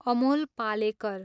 Amol Palekar